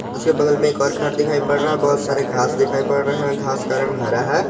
उसके बगल में एक और घर दिखाई पड़ रहा है बहोत सारे घास दिखाई पड़ रहे है घास का रंग हरा है।